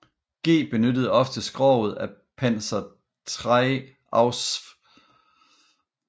G benyttede ofte skroget af Panzer III Ausf